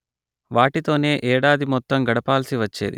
వాటితోనే ఏడాది మొత్తం గడపాల్సి వచ్చేది